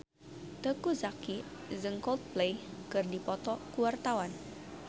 Teuku Zacky jeung Coldplay keur dipoto ku wartawan